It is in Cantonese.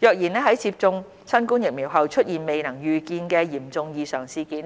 若然在接種新冠疫苗後出現未能預見的嚴重異常事件